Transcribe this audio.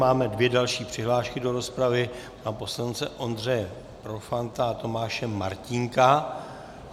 Máme dvě další přihlášky do rozpravy, pana poslance Ondřeje Profanta a Tomáše Martínka.